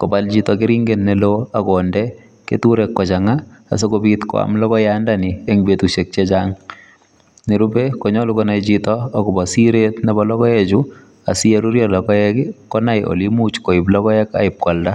kobal chito keringet neon akinde keturek kochanga asikobit kwam logoiyat ndani en betushek chechang nerube koyache konai Chito kokasiret Nebo logoek Chu asiyerurio logoek konai Kole imuch koib logoek akwalda